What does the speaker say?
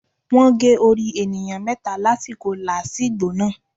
Wọ́n gé orí ènìyàn méta lásìkò làásìgbò náà